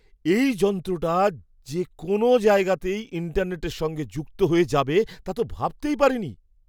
এই যন্ত্রটা যে যে কোনও জায়গাতেই ইন্টারনেটের সঙ্গে যুক্ত হয়ে যাবে তা তো ভাবতেই পারিনি!